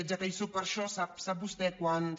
ja que hi sóc per això sap vostè quants